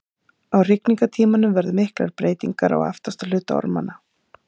á hrygningartímanum verða miklar breytingar á aftasti hluta ormanna